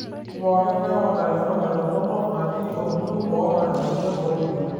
Mee pooking'ae oota enkirroket toronok natii olkuluk oota emoyian oolkipieu.